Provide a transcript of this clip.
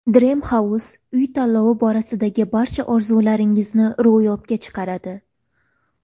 Dream House Uy tanlovi borasidagi barcha orzularingizni ro‘yobga chiqaradi!.